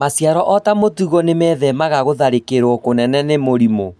maciaro ota mũtugo nĩmethemaga gũtharĩkĩrwo kũnene nĩ mĩrimũ